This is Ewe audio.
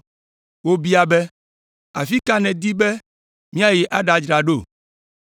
Wobia be, “Afi ka nèdi be míayi aɖadzra ɖo?”